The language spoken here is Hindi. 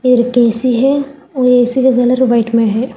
एक ए_सी है ओ ए_सी का कलर व्हाइट में है।